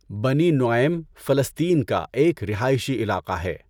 بنی نُعَیم فلسطین کا ایک رہائشی علاقہ ہے۔